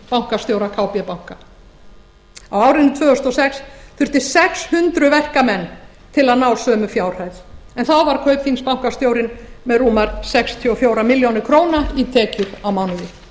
bankastjóra kb banka á árinu tvö þúsund og sex þufti sex hundruð verkamenn til að ná sömu fjárhæð en þá var kaupþingsbankastjórinn með rúmar sextíu og fjórar milljónir króna í tekjur á mánuði